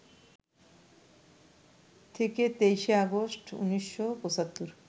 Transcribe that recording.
থেকে ২৩শে আগস্ট, ১৯৭৫